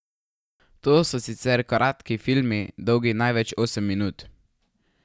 To so sicer kratki filmi, dolgi največ osem minut.